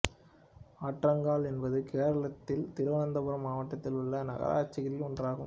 ஆற்றிங்கல் என்பது கேரளத்தின் திருவனந்தபுரம் மாவட்டத்தில் உள்ள நகராட்சிகளில் ஒன்றாகும்